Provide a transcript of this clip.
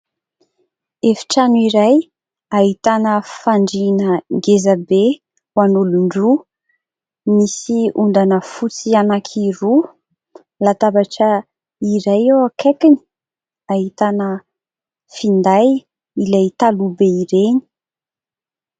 Efitrano iray ahitana fandrina ngezabe ho an'olon-droa. Misy ondana fotsy anaky roa, latabatra iray eo akaikiny, ahitana finday ilay taloha be ireny.